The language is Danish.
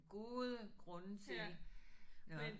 Gode grunde til nåh